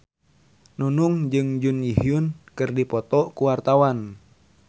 Nunung jeung Jun Ji Hyun keur dipoto ku wartawan